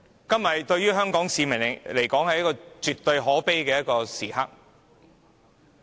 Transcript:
今天對香港市民來說，絕對是可悲的日子。